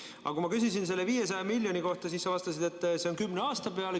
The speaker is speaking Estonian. Aga kui ma küsisin selle 500 miljoni kohta, siis sa vastasid, et see on kümne aasta peale.